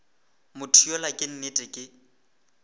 motho yola ka nnete ke